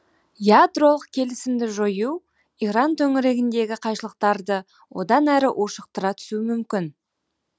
ядролық келісімді жою иран төңірегіндегі қайшылықтарды одан әрі ушықтыра түсуі мүмкін